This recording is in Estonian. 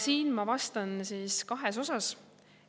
" Siin ma vastan kahes osas.